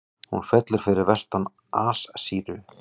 Hún fellur fyrir vestan Assýríu.